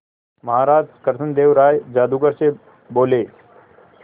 महाराज कृष्णदेव राय जादूगर से बोले